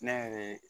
Ne yɛrɛ ye